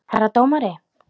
Herra dómari!